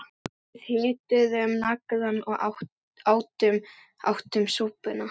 Við hituðum naglann og áttum súpuna